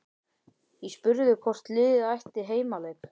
Ég spurði hvort liðið ætti heimaleik?